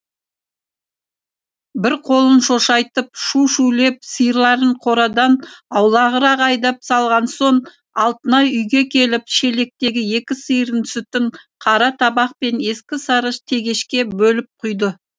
бір қолын шошайтып шу шулеп сиырларын қорадан аулағырақ айдап салған соң алтынай үйге келіп шелектегі екі сиырдың сүтін қара табақ пен ескі сары тегешке бөліп құйды